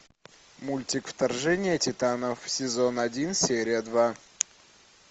мультик вторжение титанов сезон один серия два